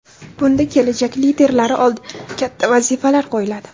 Bunda kelajak liderlari oldiga katta vazifalar qo‘yiladi.